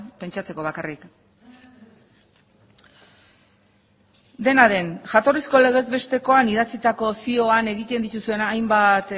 pentsatzeko bakarrik dena den jatorrizko legez bestekoan idatzitako zioan egiten dituzuen hainbat